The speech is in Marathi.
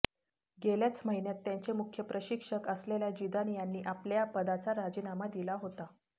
गेल्याच महिन्यात त्यांचे मुख्य प्रशिक्षक असलेल्या जिदान यांनी आपल्या पदाचा राजीनामा दिला होता